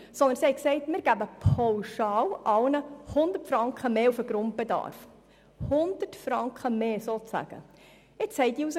Demgegenüber geben wir allen Sozialhilfebezügern pauschal 100 Franken mehr beim Grundbedarf.